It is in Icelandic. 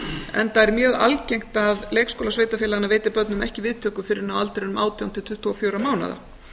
enda er mjög algengt að leikskólar sveitarfélaganna veiti börnum ekki viðtöku fyrr en á aldrinum átján til tuttugu og fjögurra mánaða